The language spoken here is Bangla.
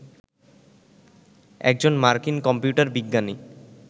একজন মার্কিন কম্পিউটার বিজ্ঞানী